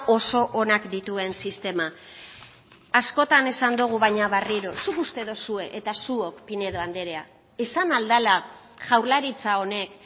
oso onak dituen sistema askotan esan dogu baina berriro zuk uste duzue eta zuok pinedo andrea esan ahal dela jaurlaritza honek